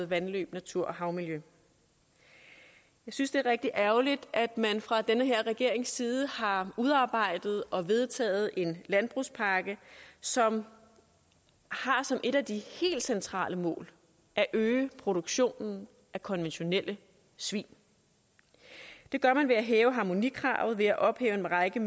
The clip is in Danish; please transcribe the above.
vandløb natur og havmiljø jeg synes det er rigtig ærgerligt at man fra den her regerings side har udarbejdet og vedtaget en landbrugspakke som har som et af de helt centrale mål at øge produktionen af konventionelle svin det gør man ved at hæve harmonikravet ved at ophæve en række